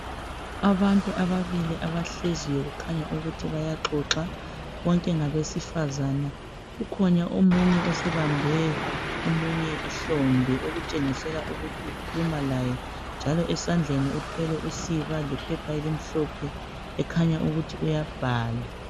Abantu ababili abahleziyo kukhanya ukuthi bayaqoqa bonke ngabesifazana kukhona omunye osebambe umunye ihlombe okutshengiselwa ukuthi ukhuluma laye njalo esandleni uthwele usiba lephepha elimhlophe ekhanya ukuthi uyabhala.